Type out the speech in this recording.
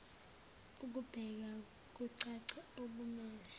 ekubeka kucace okumele